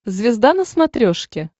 звезда на смотрешке